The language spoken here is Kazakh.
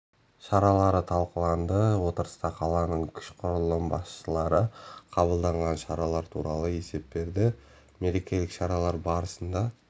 шаралары талқыланды отырыста қаланың күш құрылым басшылары қабылданған шаралар туралы есеп берді мерекелік шаралар барысында